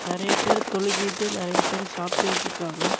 நெறய பேர் தொழுகிட்டு நெறய பேர் சாப்டுகிட்ருக்காங்க.